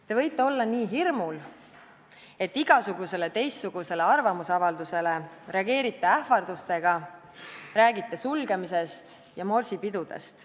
Te võite olla nii hirmul, et igasugusele teistsugusele arvamusavaldusele reageerite ähvardustega, räägite sulgemisest ja morsipidudest.